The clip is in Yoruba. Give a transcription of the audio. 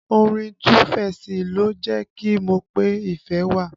Orin Tuu feesi ló jẹ́ kí n mọ pé ìfẹ́ wà